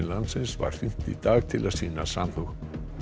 landsins var hringt í dag til að sýna samhug